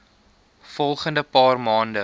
volgende paar maande